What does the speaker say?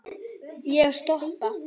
Ég stoppa.